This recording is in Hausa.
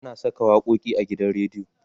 ana Saka waƙoƙi a gidan rediyo